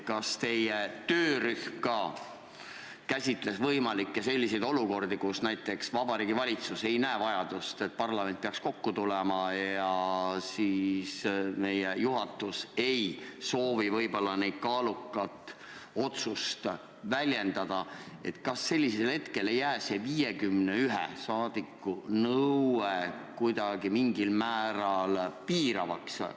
Kas teie töörühm käsitles võimalikku olukorda, kus näiteks Vabariigi Valitsus ei näe vajadust, et parlament peaks kokku tulema, ja meie juhatus ka ei soovi selle kaaluka põhjuse olemasolu väljendada, kas siis ei jää see 51 rahvasaadiku nõue kuidagi mingil määral piiravaks?